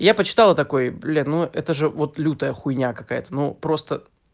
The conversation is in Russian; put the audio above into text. я почитал и такой блин ну это же вот лютая хуйня какая-то ну просто